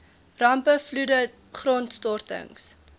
rampe vloede grondstortings